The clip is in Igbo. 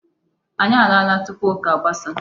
Anyị alaala tupu ụka gbasaa.